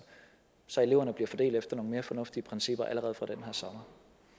så eleverne bliver fordelt efter nogle mere fornuftige principper allerede fra den her sommer